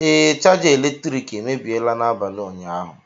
Ee, chaja eletrik emebiela n'abalị ụnyaahụ